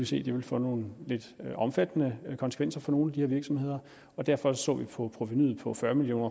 se ville få nogle lidt omfattende konsekvenser for nogle af de her virksomheder og derfor så vi på provenuet på fyrre million